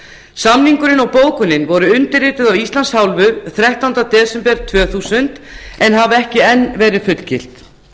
samningurinn og bókunin voru undirrituð af íslands hálfu þrettánda desember tvö þúsund en hafa ekki verið fullgilt